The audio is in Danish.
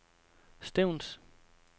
Stevns